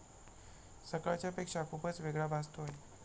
सकाळच्यापेक्षा खुपच वेगळा भासतोय.